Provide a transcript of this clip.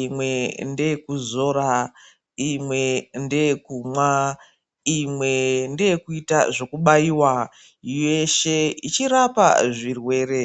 imwe ndeyekuzora, imwe ndeyekumwa, imwe ndeyekuita zvekubaiwa yeshe ichirapa zvirwere.